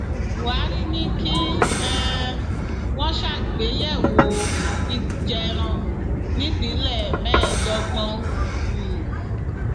buhari ní kí um wọn ṣàgbéyẹwò ibùjẹ ẹran nípìnlẹ mẹẹẹdọgbọn um